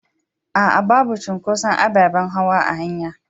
A'a, babu cunƙoson aɓaɓen hawa a hanya.